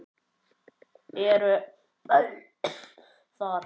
Eru böll þar?